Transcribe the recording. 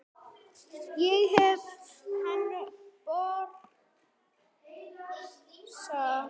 Ég heyri hann brosa.